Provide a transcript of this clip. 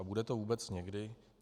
A bude to vůbec někdy?